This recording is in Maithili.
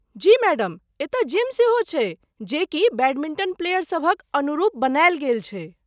जी मैडम, एतय जिम सेहो छै, जे कि बैडमिंटन प्लेयर सभक अनुरूप बनाएल गेल छै।